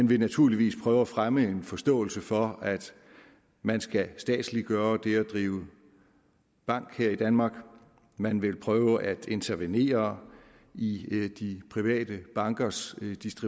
vil naturligvis prøve at fremme en forståelse for at man skal statsliggøre det at drive bank her i danmark man vil prøve at intervenere i de private bankers